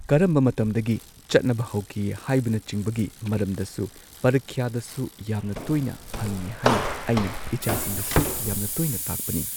ꯀꯔꯝꯕ ꯃꯇꯝꯗꯒꯤ ꯆꯠꯅꯕ ꯍꯧꯈꯤ ꯍꯥꯏꯕꯅꯆꯤꯡꯕꯒꯤ ꯃꯔꯝꯗꯁꯨ ꯄꯔꯤꯈ꯭ꯌꯥꯗꯁꯨ ꯌꯥꯝꯅ ꯇꯣꯏꯅ ꯍꯪꯏ ꯍꯥꯏꯅ ꯑꯩꯅ ꯏꯆꯥꯁꯤꯡꯗꯁꯨ ꯌꯥꯝꯅ ꯇꯣꯏꯅ ꯇꯥꯛꯄꯅꯤ